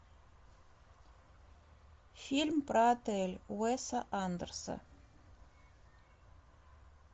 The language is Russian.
фильм про отель уэса андерса